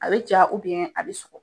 A bɛ ja a be sɔgɔ.